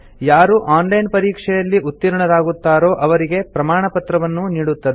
ಯಾರು online ಪರೀಕ್ಷೆಯಲ್ಲಿ ಉತ್ತೀರ್ಣರಾಗುತ್ತಾರೋ ಅವರಿಗೆ ಪ್ರಮಾಣಪತ್ರವನ್ನೂ ನೀಡುತ್ತದೆ